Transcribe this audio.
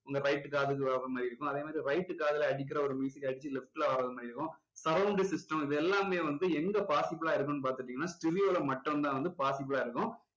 உங்க right காதுக்கு வர்ற மாதிரி இருக்கும் அதே மாதிரி right காதுல அடிக்கிற ஒரு அடிச்சி left ல வர்ற மாதிரி இருக்கும் surround system இது எல்லாமே வந்து எங்க possible லா இருக்குன்னு பாத்துட்டீங்கன்னா stereo ல மட்டும் தான் வந்து possible லா இருக்கும்